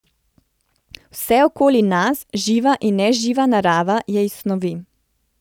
Vse okoli nas, živa in neživa narava, je iz snovi.